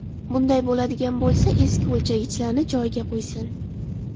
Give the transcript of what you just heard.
Bunday bo‘ladigan bo‘lsa, eski o‘lchagichlarni joyiga qo‘ysin.